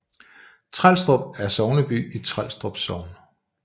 Trelstrup er sogneby i Trelstrup Sogn